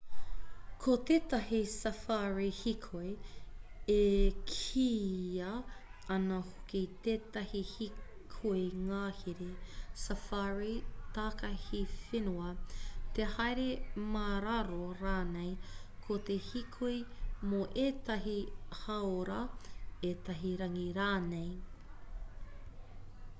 ko tētahi safari hīkoi e kīia ana hoki tētahi hīkoi ngahere safari takahi whenua te haere mā raro rānei ko te hīkoi mō ētahi hāora ētahi rangi rānei